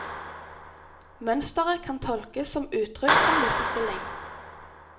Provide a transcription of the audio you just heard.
Mønstret kan tolkes som uttrykk for likestilling.